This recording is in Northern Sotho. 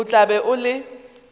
o tla be o le